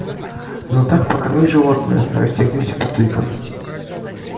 ну так покорми животную рассердился папулька